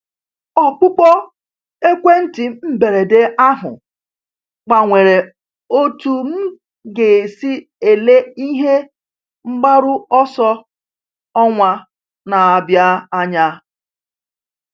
Ọkpụkpọ ekwentị mberede ahụ gbanwere otú m ga-esi ele ihe mgbaru ọsọ ọnwa na-abịa anya.